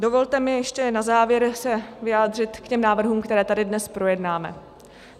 Dovolte mi ještě na závěr se vyjádřit k těm návrhům, které tady dnes projednáme.